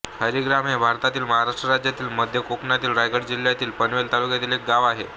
हरिग्राम हे भारतातील महाराष्ट्र राज्यातील मध्य कोकणातील रायगड जिल्ह्यातील पनवेल तालुक्यातील एक गाव आहे